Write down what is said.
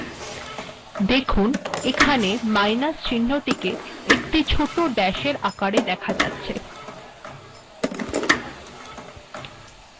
লক্ষ্য করুন মাইনাস চিহ্নটি ছোট ড্যাসের আকারে দেখা যাচ্ছে